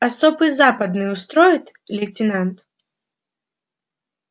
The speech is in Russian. особый западный устроит лейтенант